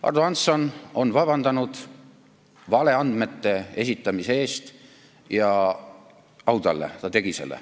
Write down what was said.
Ardo Hansson on vabandanud valeandmete esitamise eest ja au talle, et ta tegi seda.